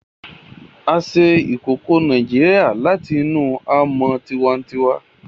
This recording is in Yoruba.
A se ìkòkò Naijiria làtinú amó tiwantiwa